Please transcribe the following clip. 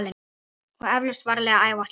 Og eflaust varlega áætlað.